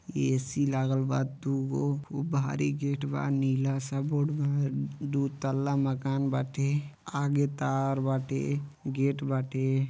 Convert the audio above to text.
ए.सी. लागल बा। दुगो भु भारी गेट बा। नीला सा बोर्ड बा। दू तल्ला मकान बाटे। आगे तार बाते। गेट बाबाटे।